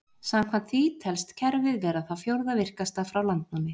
Samkvæmt því telst kerfið vera það fjórða virkasta frá landnámi.